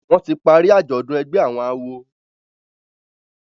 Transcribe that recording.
wón tí parí ajọdun ègbé àwọn àwo.